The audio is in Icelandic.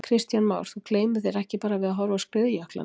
Kristján Már: Þú gleymir þér ekki bara við að horfa á skriðjöklana?